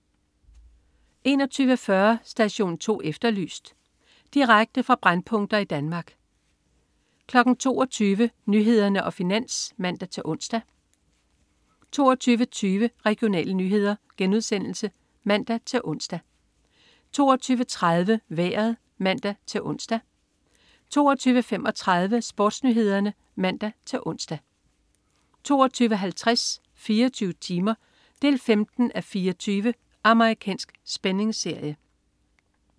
21.40 Station 2 Efterlyst. Direkte fra brændpunkter i Danmark 22.00 Nyhederne og Finans (man-ons) 22.20 Regionale nyheder* (man-ons) 22.30 Vejret (man-ons) 22.35 SportsNyhederne (man-ons) 22.50 24 timer. 15:24 Amerikansk spændingsserie